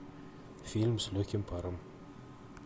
фильм с легким паром